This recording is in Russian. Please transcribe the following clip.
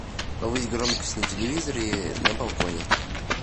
повысь громкость на телевизоре на балконе